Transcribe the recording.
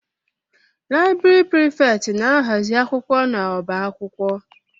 Laịbrị Prịfèkt na-ahazi akwụkwọ n'ọba akwụkwọ.